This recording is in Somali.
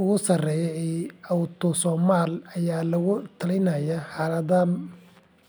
ugu sarreeya ee Autosomal ayaa lagu talinayaa xaaladahan.